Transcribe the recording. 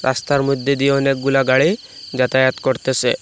রাস্তার মধ্যে দিয়ে অনেকগুলা গাড়ি যাতায়াত করতেসে।